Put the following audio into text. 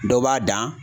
Dɔ b'a dan